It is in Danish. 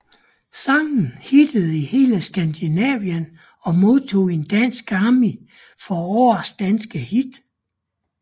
Sangen hittede i hele Skandinavien og modtog en Dansk Grammy for Årets danske hit